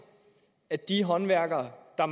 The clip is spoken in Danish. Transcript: at de håndværkere der